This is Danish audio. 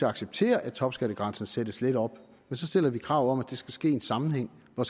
acceptere at topskattegrænsen sættes lidt op men så stiller vi krav om at det skal ske i en sammenhæng og